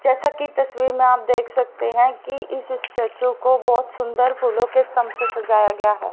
जैसा की तस्वीर में आप देख सकते हैं कि इस स्टैचू को बहुत सुंदर फूलों के स्तंभ से सजाया गया है।